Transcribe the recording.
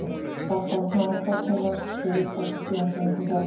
Dadda opnaði nú kortin, las þau upphátt og síðan gengu þau á milli barnanna.